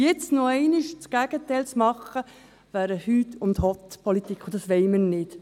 Jetzt noch einmal das Gegenteil zu machen, wäre eine «Hüst und Hott»-Politik, und dies wollen wir nicht.